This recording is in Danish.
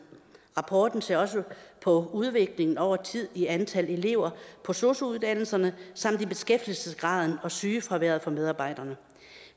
rapporten ser også på udviklingen over tid i antal elever på sosu uddannelserne samt beskæftigelsesgraden og sygefraværet for medarbejderne